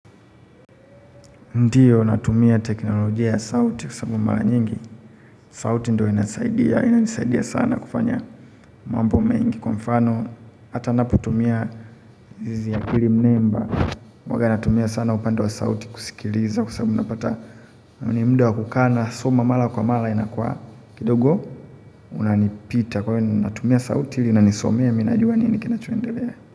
Ndio, natumia teknolojia ya sauti kwa sababu mara nyingi. Sauti ndio inasaidia. Inanisaidia sana kufanya mambo mengi kwa mfano. Hata napotumia zizi ya pili mnemba. Huanga natumia sana upande wa sauti kusikiliza kwa sababu napata. Ni muda wa kukaa na, soma mara kwa mara inakuwa. Kidogo, unanipita. Kwa hiyo natumia sauti ili inanisomea mimi najua nini kinachoendelea.